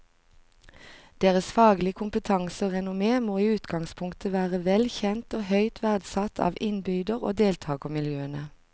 Deres faglige kompetanse og renommé må i utgangspunktet være vel kjent og høyt verdsatt av innbyder og deltagermiljøene.